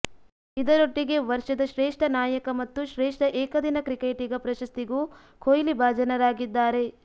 ಇದರೊಟ್ಟಿಗೆ ವರ್ಷದ ಶ್ರೇಷ್ಠ ನಾಯಕ ಮತ್ತು ಶ್ರೇಷ್ಠ ಏಕದಿನ ಕ್ರಿಕೆಟಿಗ ಪ್ರಶಸ್ತಿಗೂ ಕೊಹ್ಲಿ ಭಾಜನರಾಗಿದ್ದಾರೆ